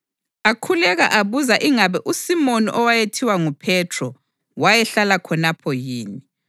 Akhuleka abuza ingabe uSimoni owayethiwa nguPhethro wayehlala khonapho yini.